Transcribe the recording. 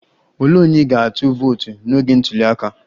Olee onye ị ga-atụ vootu n'oge ntuli aka?